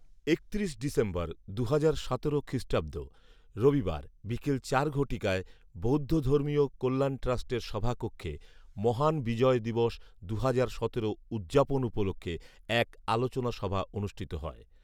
একত্রিশ ডিসেম্বর দুহাজার সতেরো খ্রিষ্টাব্দ, রবিবার, বিকেল চার ঘটিকায় বৌদ্ধ ধর্মীয় কল্যাণ ট্রাস্টের সভাকক্ষে “মহান বিজয় দিবস দুহাজার সতেরো উদযাপন উপলক্ষে এক আলোচনা সভা অনুষ্ঠিত হয়